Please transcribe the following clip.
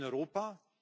Und in Europa?